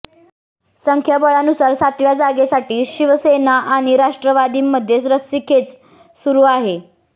संख्याबळानुसार सातव्या जागेसाठी शिवसेना आणि राष्ट्रवादीमध्ये रस्सीखेच सुरु आहे